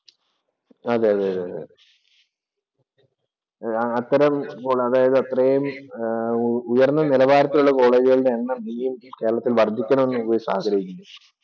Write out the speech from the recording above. അതേഅതേ അതെ. അത്തരം അത്രയും ഉയര്‍ന്ന നിലവാരത്തിലൂള്ള കോളേജുകളുടെ എണ്ണം ഇനിയും കേരളത്തില്‍ വര്‍ദ്ധിക്കണം എന്ന് യുവൈസ് ആഗ്രഹിക്കുന്നോ?